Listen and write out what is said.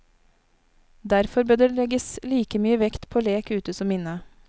Derfor bør det legges like mye vekt på lek ute som inne.